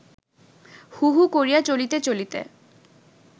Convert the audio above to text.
হু হু করিয়া চলিতে চলিতে